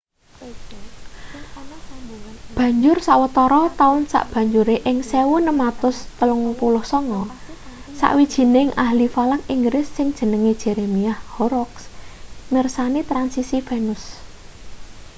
banjur sawetara taun sabanjure ing 1639 sawijining ahli falak inggris sing jenenge jeremiah horrocks mirsani transisi venus